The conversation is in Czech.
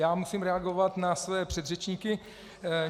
Já musím reagovat na své předřečníky.